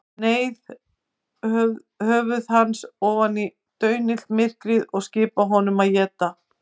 Neyða höfuð hans ofan í daunillt myrkrið og skipa honum að éta.